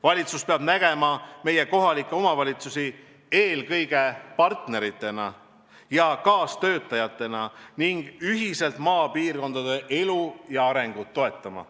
Valitsus peab nägema meie kohalikke omavalitsusi eelkõige heade partneritena ja kaastöötajatena, kellega koos tuleb maapiirkondade elu ja arengut toetada.